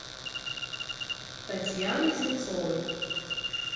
татьяны земцовой